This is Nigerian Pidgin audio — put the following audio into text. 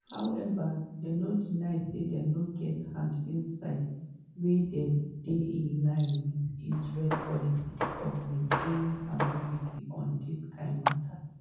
however dem no deny say dem no get hand inside wey dey in line wit israel policy of maintaining "ambiguity" on dis kain mata.